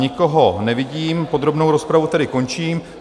Nikoho nevidím, podrobnou rozpravu tedy končím.